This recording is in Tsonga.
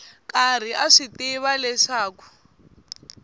karhi a swi tiva leswaku